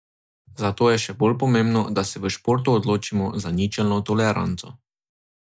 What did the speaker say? Zato je še bolj pomembno, da se v športu odločimo za ničelno toleranco.